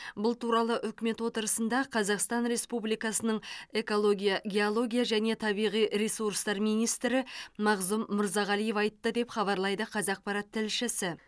бұл туралы үкімет отырысында қазақстан республикасының экология геология және табиғи ресурстар министрі мағзұм мырзағалиев айтты деп хабарлайды қазақпарат тілшісі